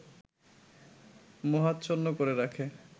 মোহাচ্ছন্ন করে রাখে